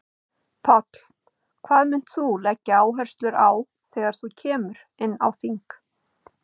Páll: Hvað munt þú leggja áherslu á þegar þú kemur inn á þing?